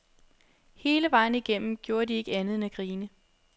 Hele vejen igennem gjorde de ikke andet end at grine.